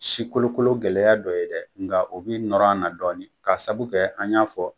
Si kolokolo gɛlɛya dɔ ye dɛ, nka a bɛ nɔrɔ a na dɔɔnin ka sabu kɛ an y'a fɔ